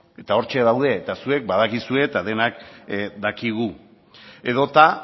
hortxe daude eta zuek badakizue eta denok dakigu edota